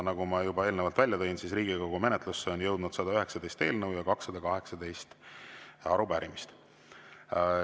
Nagu ma juba eelnevalt välja tõin, Riigikogu menetlusse on jõudnud 119 eelnõu ja 218 arupärimist.